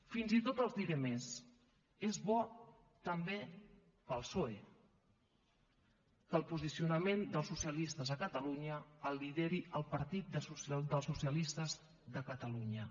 fins i tot els diré més és bo també per al psoe que el posicionament dels socialistes a catalunya el lideri el partit dels socialistes de catalunya